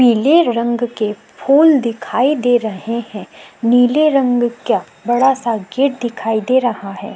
पीले रंग के फूल दिखाई दे रहे हैं। नीले रंग का बड़ा सा गेट दिखाई दे रहा है।